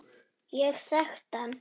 Ég þekkti hann